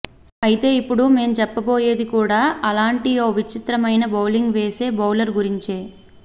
అయితే ఇప్పుడు మేం చెప్పబోయేది కూడా అలాంటి ఓ విచిత్రమైన బౌలింగ్ వేసే బౌలర్ గురించే